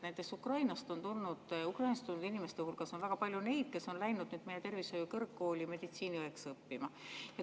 Näiteks Ukrainast tulnud inimeste hulgas on väga palju neid, kes on läinud meie tervishoiu kõrgkooli meditsiiniõeks õppima.